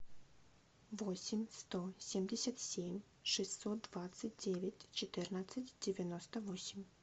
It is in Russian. восемь сто семьдесят семь шестьсот двадцать девять четырнадцать девяносто восемь